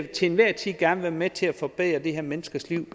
til enhver tid gerne være med til at forbedre de her menneskers liv